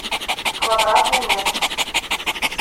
квадратный метр